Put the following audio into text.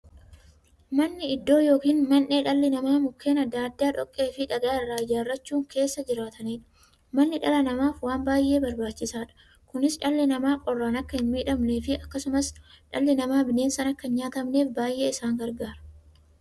Manni iddoo yookiin mandhee dhalli namaa Mukkeen adda addaa, dhoqqeefi dhagaa irraa ijaarachuun keessa jiraataniidha. Manni dhala namaaf waan baay'ee barbaachisaadha. Kunis, dhalli namaa qorraan akka hinmiidhamneefi akkasumas dhalli namaa bineensaan akka hinnyaatamneef baay'ee isaan gargaara.